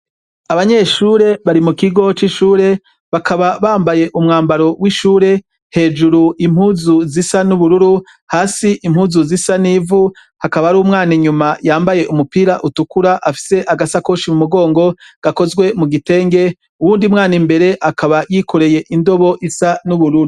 Abanyeshure bari mukigo c’ishure bakaba bambaye umwambaro w’ishure, hejuru impuzu zisa n’ubururu, hasi impuzu zisa n’ivu, hakaba har’umwana inyuma yambaye umupira utukura afise agasakoshi mumugongo gakozwe mugitenge , uwundi mwan’imbere akaba yikoreye indobo isa n’ubururu.